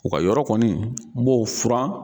U ka yɔrɔ kɔni n b'o furan.